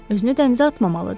Özünü dənizə atmamalıdır.